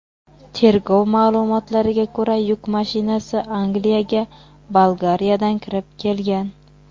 Tergov ma’lumotlariga ko‘ra, yuk mashinasi Angliyaga Bolgariyadan kirib kelgan.